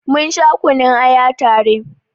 Mun sha kunun aya ta re